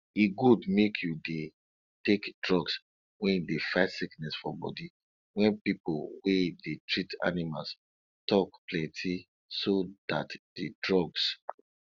e good make you dey take drugs wen dey fight sickness for bodi wen pipo wey dey treat animals tok plenti so dat di drugs